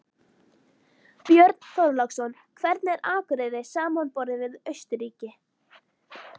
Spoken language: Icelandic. Björn Þorláksson: Hvernig er Akureyri samanborið við Austurríki?